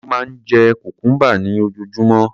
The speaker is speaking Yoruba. Ó máa ń jẹ cucumber ní ojoojúmọ́.